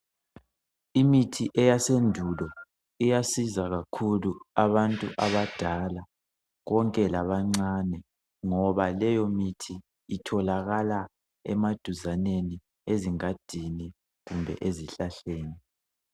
Imithi eyasendulo iyasiza kakhulu abantu abadala konke labancane, ngoba leyo mithi itholakala emaduzaneni ezingadini kumbe ezihlahleni.